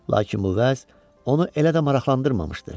Lakin bu vəz onu elə də maraqlandırmamışdı.